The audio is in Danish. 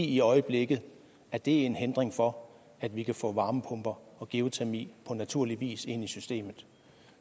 i øjeblikket er det en hindring for at vi kan få varmepumper og geotermi på naturlig vis ind i systemet